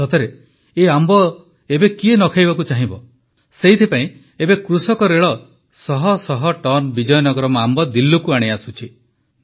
ସତରେ ଏହି ଆମ୍ବ ଏବେ କିଏ ନ ଖାଇବାକୁ ଚାହିଁବ ସେଥିପାଇଁ ଏବେ କୃଷକରେଳ ଶହଶହ ଟନ୍ ବିଜୟନଗରମ୍ ଆମ୍ବ ଦିଲ୍ଲୀକୁ ଆଣି ଆସୁଛି